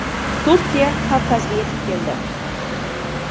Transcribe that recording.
Turkiya Kavkazga yetib keldi.